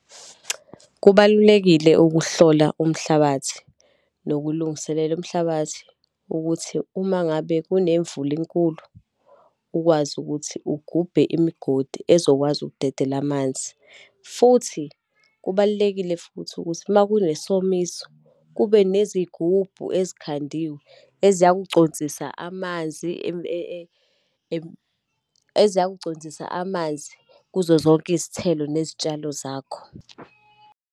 Kubalulekile ukuhlola umhlabathi, nokulungiselela umhlabathi, ukuthi uma ngabe kunemvula enkulu, ukwazi ukuthi ugubhe imigodi ezokwazi ukudedela amanzi. Futhi kubalulekile futhi ukuthi, uma kunesomiso, kube nezigubhu ezikhandiwe eziyakuconsisa amanzi eziyakuconsisa amanzi kuzo zonke izithelo nezitshalo zakho.